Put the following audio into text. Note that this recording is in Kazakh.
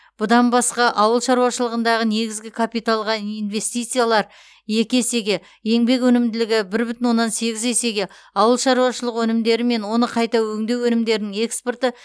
бұдан басқа ауыл шаруашылығындағы негізгі капиталға инвестициялар екі есеге еңбек өнімділігі бір бүтін оннан сегіз есеге ауыл шаруашылығы өнімдері мен оны қайта өңдеу өнімдерінің экспорты